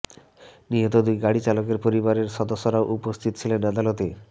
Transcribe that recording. নিহত দুই গাড়ি চালকের পরিবারের সদস্যরাও উপস্থিত ছিলেন আদালতে